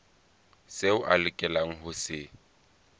seo a lokelang ho se